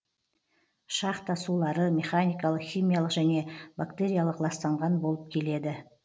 шахта сулары механикалық химиялық және бактериялық ластанған болып келеді